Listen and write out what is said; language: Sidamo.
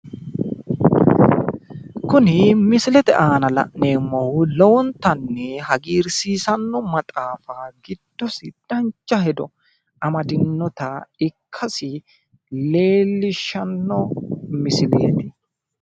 Kuni misilete aana la'neemmohu lowontanni haagiirsiisanno maxaafa giddosi dancha hedo amadinoha ikkasi leellishshanno misileeti.